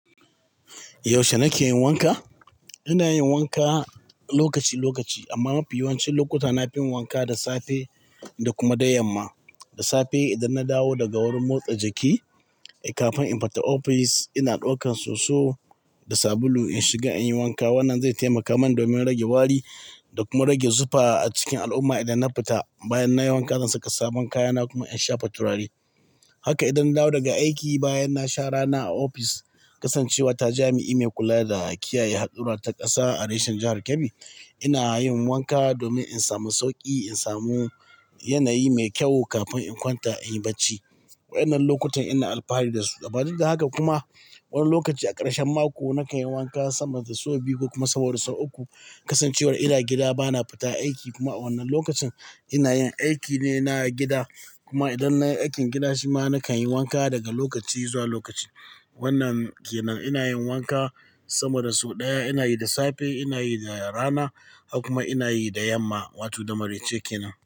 Yaushe nake yin wanka? Ina yin wanka lokaci-lokaci amma mafi yawancin lokuta na fin wanka da safe da kuma da yamma. Da safe idan na dawo daga wurin motsa jiki, eh kafin in fita ofis ina daukan soso da sabulu in shiga in yi wanka. Wannan zai taimaka min domin rage wari da kuma rage zufa a cikin al'umma idan na fita. Bayan na yi wanka na zan saka sabon kaya na kuma in shafa turare. Haka idan na dawo daga aiki bayan na sha rana a ofis, kasancewa ta jami'i mai kula da kiyaye haɗura ta ƙasa a reshen jihar Kebbi, ina yin wanka domin in samu sauƙi, in samu yanayi mai kyau kafin in kwanta in yi barci. Waƴannan lokutan ina alfahari da su. Saboda haka kuma wani lokaci a ƙarshen mako, nakan yi wanka sama da sau biyu ko kuma sau uku. Kasancewar ina gida ba na fita aiki kuma a wannan lokacin ina yin aiki ne na gida. Kuma idan nayi aikin gida shima nakan yi wanka daga lokaci zuwa lokaci. Wannan kenan ina yin wanka sama da sau ɗaya. Ina yi da safe, ina yi da rana har kuma ina yi da yamma wato da maraice kenan.